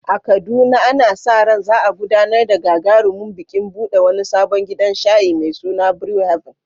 A Kaduna, ana sa ran za a gudanar da gagarumin bikin buɗe wani sabon gidan shayi mai suna Brew Haven.